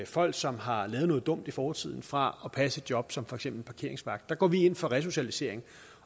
folk som har lavet noget dumt i fortiden fra at passe et job som for eksempel parkeringsvagt der går vi ind for resocialisering